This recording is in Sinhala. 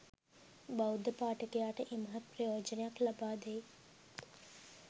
බෞද්ධ පාඨකයාට ඉමහත් ප්‍රයෝජනයක් ලබාදෙයි